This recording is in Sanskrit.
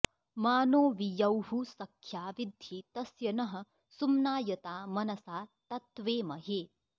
मा नो॒ वि यौः॑ स॒ख्या वि॒द्धि तस्य॑ नः सुम्नाय॒ता मन॑सा॒ तत्त्वे॑महे